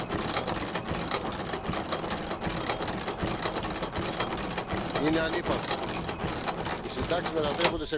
premier pilier de pension doit d'abord être fort, c'est à dire avec un taux de remplacement qui ne plonge pas les retraités dans la pauvreté.